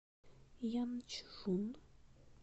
янчжун